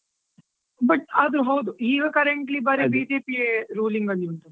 ಹಾ but ಆದ್ರು ಹೌದು, ಈಗ currently ಬರೀ BJP ಯೇ ruling ಅಲ್ಲಿ ಉಂಟು.